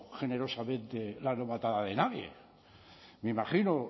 generosamente la novatada de nadie me imagino